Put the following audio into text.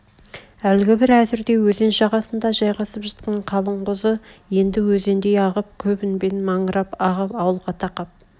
әлгі бір әзірде өзен жағасында жайғасып жатқан қалың қозы енді өзендей ағып көп үнмен маңырап ағып ауылға тақап